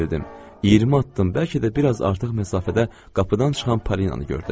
20 addım, bəlkə də biraz artıq məsafədə qapıdan çıxan Polinanı gördüm.